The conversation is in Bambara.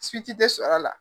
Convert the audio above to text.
tɛ sɔrɔ a la.